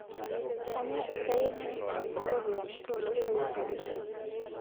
Kainyoo esiai e ministri oo ropiyiani to losho Uganda